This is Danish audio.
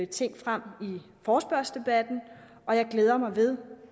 ting frem i forespørgselsdebatten og jeg glæder mig ved